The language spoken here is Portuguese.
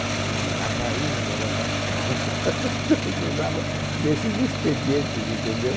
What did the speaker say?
Então, a rainha das arcadas... A gente usava desses expedientes, entendeu?